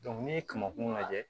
n'i ye kamankun lajɛ